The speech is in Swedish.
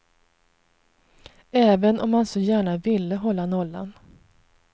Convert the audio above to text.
Även om han så gärna ville hålla nollan.